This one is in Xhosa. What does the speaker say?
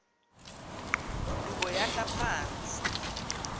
udubo yahla phantsi